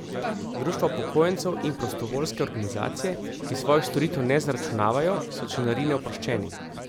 Društva upokojencev in prostovoljske organizacije, ki svojih storitev ne zaračunavajo, so članarine oproščeni.